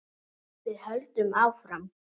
Við höldum áfram.